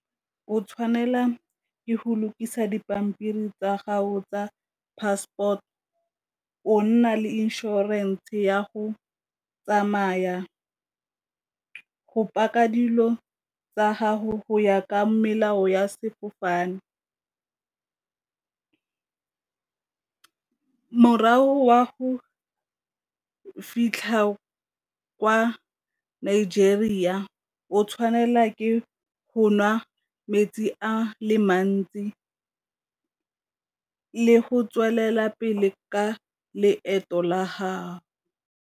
O tshwanela ke go lokisa dipampiri tsa gago tsa passport, o nna le inšorense ya go tsamaya, go paka dilo tsa gago go ya ka melao ya sefofane, morago wa go fitlha kwa Nigeria o tshwanela ke go nwa metsi a le mantsi le go tswelela pele ka leeto la .